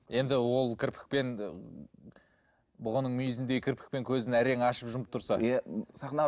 енді ол кірпікпен бұғының мүйізіндей кірпікпен көзін әрең ашып жұмып тұрса иә м